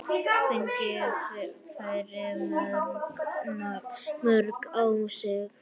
Fengið færri mörk á sig?